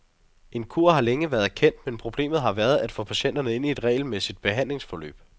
En kur har længe været kendt, men problemet har været at få patienterne ind i et regelmæssigt behandlingsforløb.